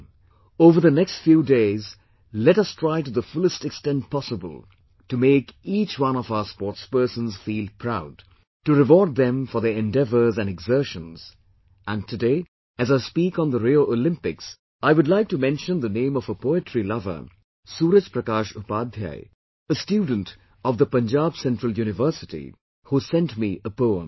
Come, over the next few days, let us try to the fullest extent possible to make each one of our sportspersons feel proud, to reward them for their endeavours and exertions; and today, as I speak on the Rio Olympics, I would like to mention the name of a poetry lover, Suraj Prakash Upadhyay a student of the Punjab Central University, who has sent me a poem